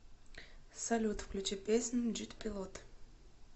салют включи песню джэт пилот